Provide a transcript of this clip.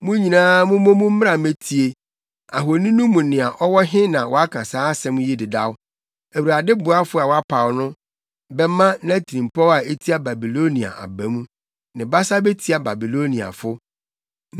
“Mo nyinaa mommɔ mu mmra mmetie: ahoni no mu nea ɔwɔ he na waka saa nsɛm yi dedaw? Awurade boafo a wapaw no bɛma nʼatirimpɔw a etia Babilonia aba mu; ne basa betia Babiloniafo.